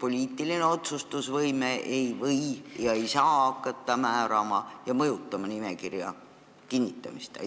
poliitiline otsustusvõime ei või ega saa hakata määrama ja mõjutama nimekirja kinnitamist?